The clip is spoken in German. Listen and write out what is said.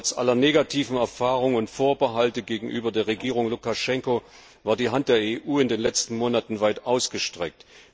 Trotz aller negativen Erfahrungen und Vorbehalte gegenüber der Regierung Lukaschenko war die Hand der EU in den letzten Monaten weit ausgestreckt.